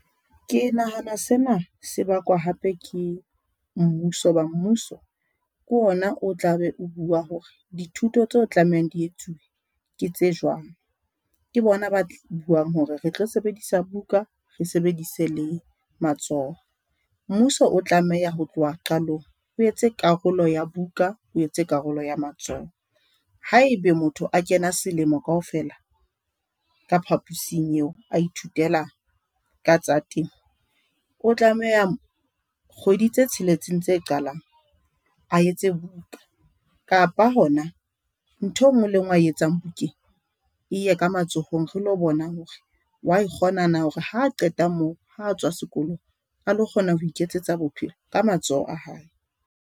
Ke nahana sena sebakwa hape ke mmuso hoba mmuso ke ona o tla be o bua hore dithuto tseo tlamehang di etsuwe ke tse jwang. Ke bona ba buang hore re tlo sebedisa buka. Re sebedise le matsoho. Mmuso o tlameha ho tloha qalong o etse karolo ya buka, o etse karolo ya matsoho. Haebe motho a kena selemo kaofela ka phaposing eo, a ithutela ka tsa temo, o tlameha kgwedi tse tsheletseng tse qalang a etse buka kapa hona ntho e nngwe le nngwe a e etsang bukeng eye ka matsohong. Re lo bona hore wa e kgona na, hore ha qeta moo ha a tswa sekolong, a lo kgona ho iketsetsa bophelo ka matsoho a hae.